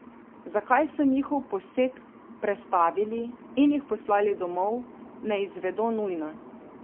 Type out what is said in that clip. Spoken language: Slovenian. Zakaj so njihov poseg prestavili in jih poslali domov, ne izvedo nujno.